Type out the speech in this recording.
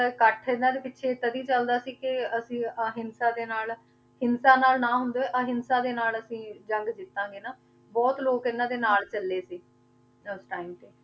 ਇਕੱਠ ਇਹਨਾਂ ਦੇ ਪਿੱਛੇ ਤਦੀ ਚੱਲਦਾ ਸੀ ਕਿ ਅਸੀਂ ਅਹਿੰਸਾ ਦੇ ਨਾਲ ਹਿੰਸਾ ਨਾਲ ਨਾ ਹੁੰਦੇ ਹੋਏ ਅਹਿੰਸਾ ਦੇ ਨਾਲ ਅਸੀਂ ਜੰਗ ਜਿੱਤਾਂਗੇ ਨਾ, ਬਹੁਤ ਲੋਕ ਇਹਨਾਂ ਦੇ ਨਾਲ ਚੱਲੇ ਸੀ, ਉਸ time ਤੇ,